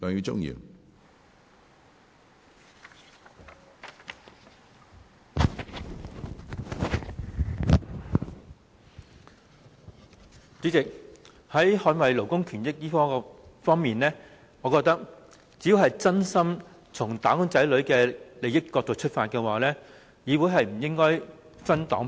主席，就捍衞勞工權益而言，我認為只要是真心從"打工仔女"的利益出發，議會是不應該分黨派的。